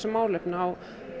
málefni á